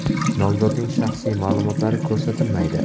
Nomzodning shaxsiy ma’lumotlari ko‘rsatilmaydi.